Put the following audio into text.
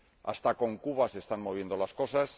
Hasta con Cuba se están moviendo las cosas.